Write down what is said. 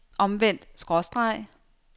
omvendt skråstreg